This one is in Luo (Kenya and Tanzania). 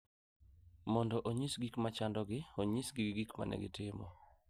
Mondo onyis gik ma chandogi, onyisgi gik ma ne gitimo,